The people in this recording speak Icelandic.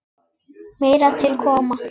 Meira til koma.